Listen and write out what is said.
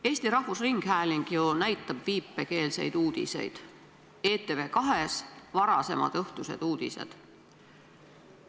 Eesti Rahvusringhääling ju näitab viipekeelseid uudiseid, need on ETV2 varasemad õhtused uudised.